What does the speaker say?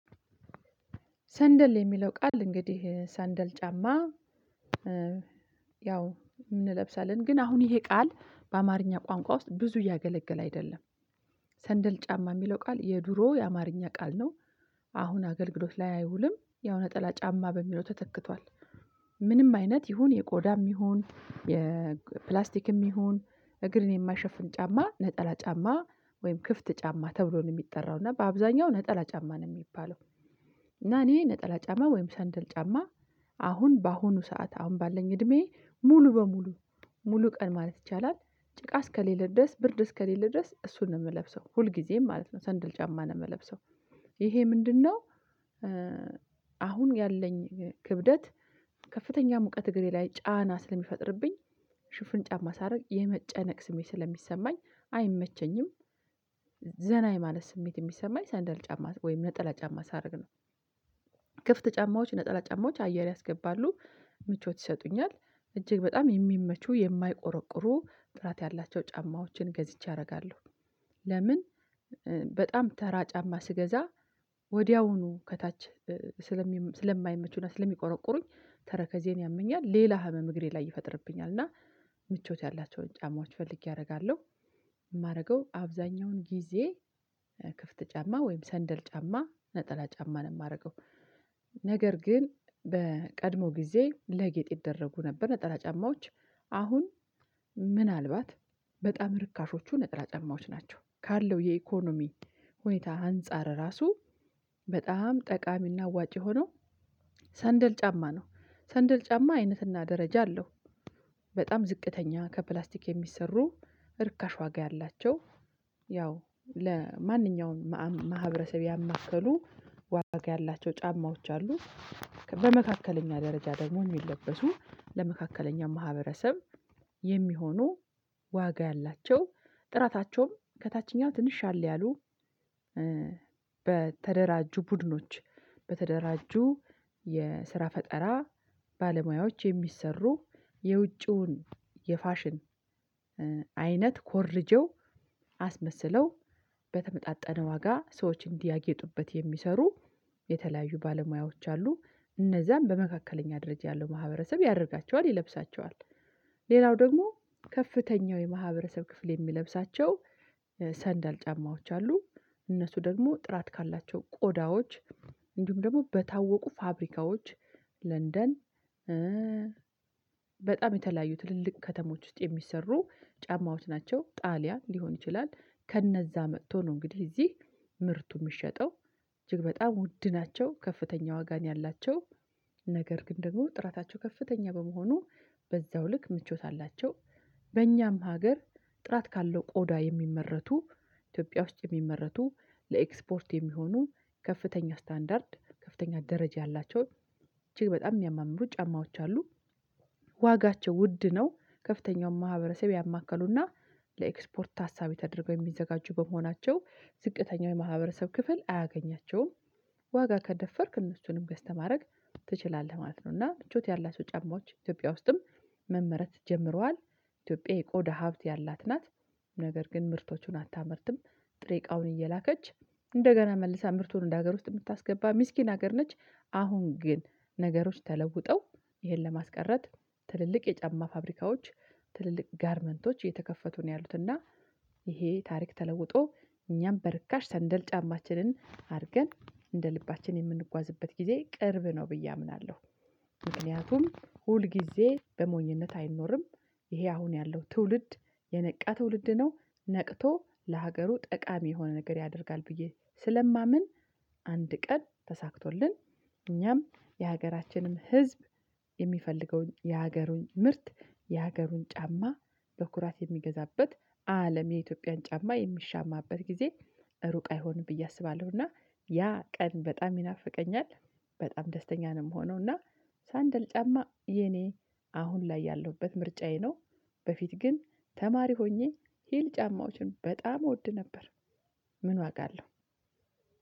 ሰንደል የሚለው ቃል እንግዲህ ሰንደል ጫማ ያው እንለብሳለን ግን አሁን ይሄ ቃል በአማርኛ ቋንቋ ውስጥ ብዙ እያገለገለ አይደለም። ሰንደል ጫማ የሚለው ቃል የድሮ የአማርኛ ቃል ነው። አሁን አገልግሎት ላይ አይውልም ያው ነጠላ ጫማ በሚለው ተተክቷል። ምንም አይነት ይሁን የቆዳም ይሁን የፕላስቲክም ይሁን እግርን የማይሸፍን ጫማ ነጠላ ጫማ ወይም ክፍት ጫማ ተብሎ ነው የሚጠራው እና በአብዛኛው ነጠላ ጫማ ነው የሚባለው። እና እኔ ነጠላ ጫማ ወይም ሰንደል ጫማ። አሁን በአሁኑ ሰዓት አሁን ባለኝ እድሜ ሙሉ በሙሉ ሙሉ ቀን ማለት ይቻላል። ጭቃ እስከሌለ ድረስ ብርድ እስከሌለ ድረስ እሱን ነው የምለብሰው ሁልጊዜም ማለት ነው ሰንድል ጫማ ነው የምለብሰው። ይሄ ምንድነው? አሁን ያለኝ ክብደት ከፍተኛ ሙቀት እግሬ ላይ ጫና ስለሚፈጥርብኝ ሽፍን ጫማ ሳደረግ የመጨነቅ ስሜት ስለሚሰማኝ አይመቸኝም። ዘና የማለት ስሜት የሚሰማኝ ሰንደል ጫማ ወይም ነጠላ ጫማ ሳደርግ ነው። ክፍት ጫማዎች ነጠላ ጫማዎች አየር ያስገባሉ። ምቾት ይሰጡኛል እጅግ በጣም የሚመቹ የማይቆረቁሩ ጥራት ያላቸው ጫማዎችን ገዝቼ አደርጋለሁ። ለምን? በጣም ተራ ጫማ ስገዛ ወዲያውኑ ከታች ስለማይመቹና ስለሚቆረቁሩኝ ተረከዜን ያመኛል ሌላ ህመም እግሬ ላይ ይፈጥርብኛል እና ምቾት ያላቸውን ጫማዎች ፈልጌ አደርጋለሁ። የማደርገው አብዛኛውን ጊዜ ክፍት ጫማ ወይም ሰንደል ጫማ ነጠላ ጫማ ነው የማደርገው። ነገር ግን በቀድሞ ጊዜ ለጌጥ ይደረጉ ነበር። ነጠላ ጫማዎች አሁን ምናልባት በጣም ርካሾቹ ነጥላ ጫማዎች ናቸው ካለው የኢኮኖሚ ሁኔታ አንፃር ራሱ በጣም ጠቃሚና አዋጭ የሆነው ሰንደል ጫማ ነው ሰንደል ጫማ አይነትና ደረጃ አለው። በጣም ዝቅተኛ ከፕላስቲክ የሚሰሩ እርካሽ ዋጋ ያላቸው ያው ለማንኛውም ማህበረሰብ ያማከሉ ዋጋ ያላቸው ጫማዎች አሉ። በመካከለኛ ደረጃ ደግሞ የሚለበሱ ለመካከለኛ ማህበረሰብ የሚሆኑ ዋጋ ያላቸው ጥራታቸውም ከታችኛው ትንሽ ሻል ያሉ በተደራጁ ቡድኖች በተደራጁ የስራ ፈጠራ ባለሙያዎች የሚሰሩ የውጪውን የፋሽን አይነት ኮርጀው አስመስለው በተመጣጣነ ዋጋ ሰዎች እንዲያጌጡበት የሚሰሩ የተለያዩ ባለሙያዎች አሉ እነዛን በመካከለኛ ደረጃ ያሉ ማህበረሰብ ያደርጋቸዋል ይለብሳቸዋል። ሌላው ደግሞ ከፍተኛው የማህበረሰብ ክፍል የሚለብሳቸው ሰንዳል ጫማዎች አሉ። እነሱ ደግሞ ጥራት ካላቸው ቆዳዎች እንዲሁም ደግሞ በታወቁ ፋብሪካዎች ለንደን በጣም የተለያዩ ትልልቅ ከተሞች ውስጥ የሚሰሩ ጫማዎች ናቸው። ጣሊያን ሊሆን ይችላል። ከነዛ መጥቶ ነው እንግዲህ እዚህ ምርቱ የሚሸጠው እጅግ በጣም ውድ ናቸው። ከፍተኛ ዋጋ ያላቸው ነገር ግን ደግሞ ጥራታቸው ከፍተኛ በመሆኑ በዛው ልክ ምቾት አላቸው። በእኛም ሀገር ጥራት ካለው ቆዳ የሚመረቱ ኢትዮጵያ ውስጥ የሚመረቱ ለኤክስፖርት የሚሆኑ ከፍተኛ ስታንዳርድ ከፍተኛ ደረጃ ያላቸው እጅግ በጣም የሚያማምሩ ጫማዎች አሉ። ዋጋቸው ውድ ነው ከፍተኛው ማህበረሰብ ያማከሉና ለኤክስፖርት ሀሳብ ተደርገው የሚዘጋጁ በመሆናቸው ዝቅተኛው የማህበረሰብ ክፍል አያገኛቸውም። ዋጋ ከደፈርክ እነሱንም ገዝተህ ማድረግ ትችላለህ ማለት ነው። እና ምቾት ያላቸው ጫማዎች ኢትዮጵያ ውስጥም መመረት ጀምረዋል። ኢትዮጵያ የቆዳ ሀብት ያላት ናት። ነገር ግን ምርቶቹን አታመርትም። ጥሬ እቃውን እየላከች እንደገና መልሳ ምርቱን ወደ ሀገር ውስጥ የምታስገባ ምስኪን ሀገር ነች። አሁን ግን ነገሮች ተለውጠው ይሄን ለማስቀረት ትልልቅ የጫማ ፋብሪካዎች ትልልቅ ጋርመንቶች እየተከፈቱ ነው ያሉት እና ይሄ ታሪክ ተለውጦ እኛም በርካሽ ሰንደል ጫማችንን አድርገን እንደ ልባችን የምንጓዝበት ጊዜ ቅርብ ነው ብዬ አምናለሁ። ምክንያቱም ሁል ጊዜ በሞኝነት አይኖርም። ይሄ አሁን ያለው ትውልድ የነቃ ትውልድ ነው። ነቅቶ ለሀገሩ ጠቃሚ የሆነ ነገር ያደርጋል ብዬ ስለማምን አንድ ቀን ተሳክቶልን እኛም የሀገራችንም ህዝብ የሚፈልገውን የሀገሩን ምርት የሀገሩን ጫማ በኩራት የሚገዛበት አለም የኢትዮጵያን ጫማ የሚሻማበት ጊዜ ሩቅ አይሆንም። ብዬ አስባለሁ እና ያ ቀን በጣም ይናፍቀኛል። በጣም ደስተኛ ነው የምሆነው እና ሰንደል ጫማ የኔ አሁን ላይ ያለሁበት ምርጫዬ ነው። በፊት ግን ተማሪ ሆኜ ሂል ጫማዎችን በጣም እወድ ነበር። ምን ዋጋ አለው?